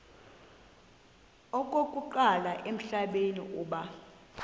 okokuqala emhlabeni uba